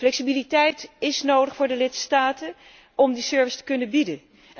Flexibiliteit is nodig voor de lidstaten om die service te kunnen bieden.